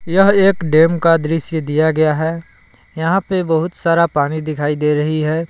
यह एक डेम का दृश्य दिया गया है यहां पे बहुत सारा पानी दिखाई दे रही है।